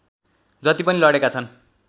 जति पनि लडेका छन्